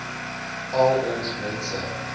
al ons mense